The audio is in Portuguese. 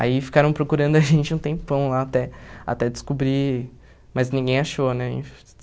Aí ficaram procurando a gente um tempão lá até até descobrir, mas ninguém achou, né?